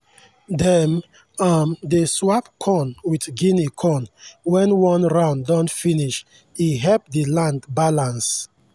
dem um dey swap corn with guinea corn when one round don finish e help the land balance.